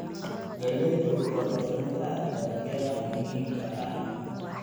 Galleydu waa mid ka mid ah dalagyada muhiimka ah.